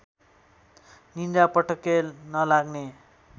निद्रा पटक्कै नलाग्ने